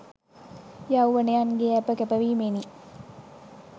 යෞවනයන්ගේ ඇප කැප වීමෙනි.